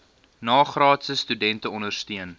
nagraadse studente ondersteun